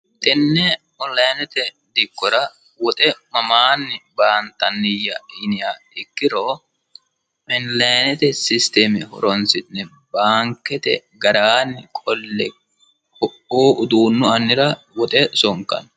tenne onilinete dikkora woxe mamaanni baantanniya yiniha ikkiro onlinete systeme horonsi'ne baankete ragaanni qolle ku''ii uduunnu annira woxe sonkanni.